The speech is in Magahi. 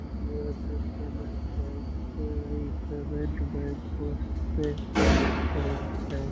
जो की एयरटेल पेमेंट बैंक इ पेमेंट बैंक पोस्टपेड बैंक हेय।